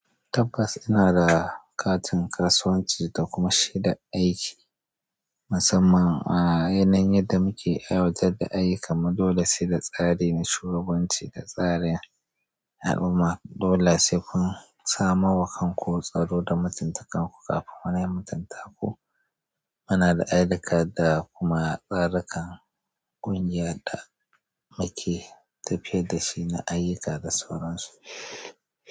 Tabbas ina da katin kasuwanci da kuma shaidar aiki musamman a yanayin yadda muke aiwatar da ayyuka. Ma dole sai da tsari na shugabanci da tsarin al'umma. Dole sai kun samo wa kanku tsaro da mutuntakarku kafin wani ya mutunta ku. Muna da ayyuka da kuma tsarukan ƙungiyar da muke tafiya da shi na ayyuka da sauran su.